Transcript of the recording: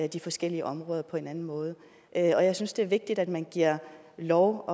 de forskellige områder på en anden måde og jeg synes det er vigtigt at man giver lov